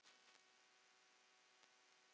Sindri: En þú?